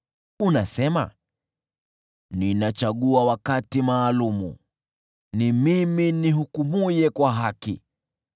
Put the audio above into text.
Unasema, “Ninachagua wakati maalum; ni mimi nihukumuye kwa haki.